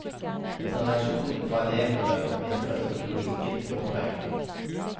Etter reaksjonene fra elevene å dømme, virker ikke logikken påtrengende.